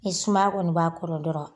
Ni suma kɔni b'a kɔrɔ dɔrɔn